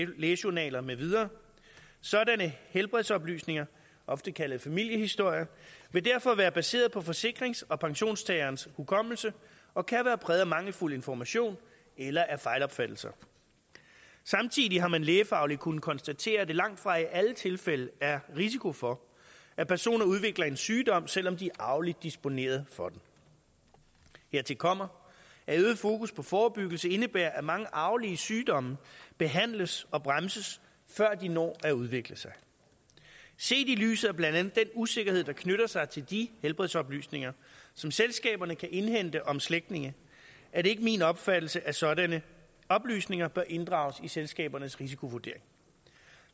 lægejournaler med videre sådanne helbredsoplysninger ofte kaldet familiehistorie vil derfor være baseret på forsikrings og pensionstagerens hukommelse og kan være præget af mangelfuld information eller af fejlopfattelser samtidig har man lægefagligt kunnet konstatere at der langtfra i alle tilfælde er risiko for at personer udvikler en sygdom selv om de er arveligt disponeret for den hertil kommer at øget fokus på forebyggelse indebærer at mange arvelige sygdomme behandles og bremses før de når at udvikle sig set i lyset af blandt andet den usikkerhed der knytter sig til de helbredsoplysninger som selskaberne kan indhente om slægtninge er det ikke min opfattelse at sådanne oplysninger bør inddrages i selskabernes risikovurdering